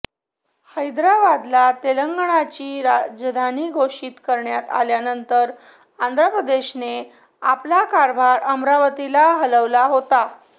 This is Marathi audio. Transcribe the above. हैदराबादला तेलंगणाची राजधानी घोषित करण्यात आल्यानंतर आंध्र प्रदेशने आपला कारभार अमरावतीला हलवला होता